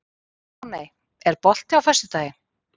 Máney, er bolti á föstudaginn?